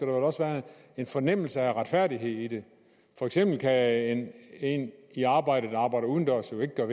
også være en fornemmelse af retfærdighed i det for eksempel kan en i arbejde der arbejder udendørs jo ikke gøre